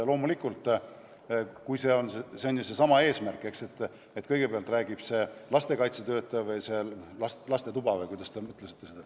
Loomulikult, eesmärk on ju seesama, eks ole, et kõigepealt räägib lastekaitsetöötaja või lastetuba või kuidas te seda mõtlesite ...